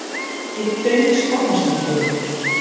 Ég dauðskammast mín fyrir þig.